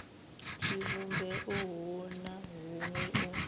tshivhumbeo hu na huṅwe u